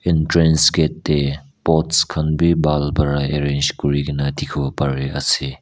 entrance gate teh bots khan bhi bhal para arrange Kori ki na dikhibo pare ase.